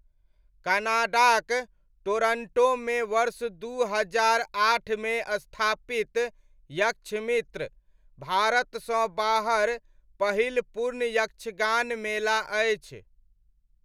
कनाडाक टोरन्टोमे वर्ष दू हजार आठमे स्थापित यक्षमित्र, भारतसँ बाहर पहिल पूर्ण यक्षगान मेला अछि।